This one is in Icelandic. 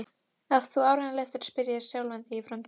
Hún var vonsvikin, það leyndi sér ekki.